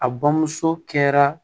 A bamuso kɛra